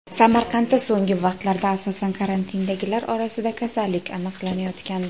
Samarqandda so‘nggi vaqtlarda, asosan, karantindagilar orasida kasallik aniqlanayotgandi.